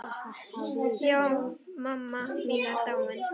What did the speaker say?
Já, mamma mín er dáin.